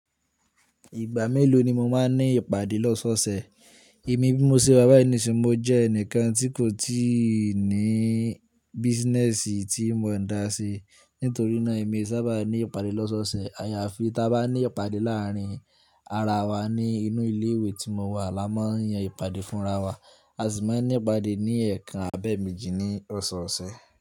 Ìgbà mélòó ni mo máa ń ní ìpàdé lọ́sọ̀ọ̀sẹ̀? Èmi bí mo ṣe wa bàyii niisin, mo jẹ́ ẹnìkan tí kò tíì ní business tí mo ń dá sí. Nítorí náà èmi e sábà ní ìpàdé lọ́sọ̀ọ̀sẹ̀. Àyafí ta bá ní ìpàdé láàárín ara wa ní inú ilé ìwé tí mo wà, a máa yan ìpàdé fúnra wa. A sì máa ní ìpàdé ní ẹ̀ẹ̀kan àbẹ́ẹ̀ méjì ní ọ̀sọ̀ọ̀sẹ̀.